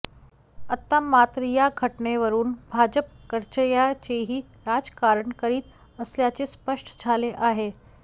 आता मात्र या घटनेवरून भाजप कचर्याचेही राजकारण करीत असल्याचे स्पष्ट झाले आहे